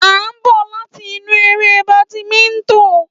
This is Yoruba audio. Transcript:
À ń bọ̀ láti inú eré badminton.